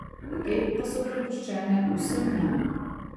Te pa so prepuščene vsem nam.